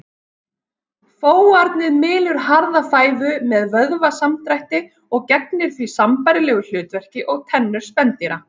Fóarnið mylur harða fæðu með vöðvasamdrætti og gegnir því sambærilegu hlutverki og tennur spendýra.